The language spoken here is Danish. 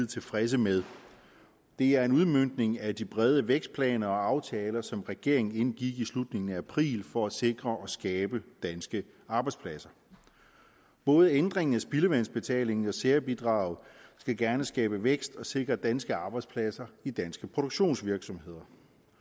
tilfredse med det er en udmøntning af de brede vækstplaner og aftaler som regeringen indgik i slutningen af april for at sikre og skabe danske arbejdspladser både ændringen af spildevandsbetalingen og særbidraget skal gerne skabe vækst og sikre danske arbejdspladser i danske produktionsvirksomheder